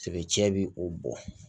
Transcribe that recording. Tigɛcɛ bi o bɔ